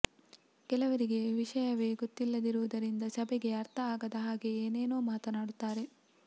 ಕೆಲವರಿಗೆ ವಿಷಯವೇ ಗೊತ್ತಿಲ್ಲದಿರುವುದರಿಂದ ಸಭೆಗೆ ಅರ್ಥ ಆಗದ ಹಾಗೆ ಏನೇನೋ ಮಾತನಾಡುತ್ತಾರೆ